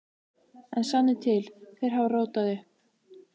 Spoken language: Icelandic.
En sannið til: Þeir hafa rótað upp.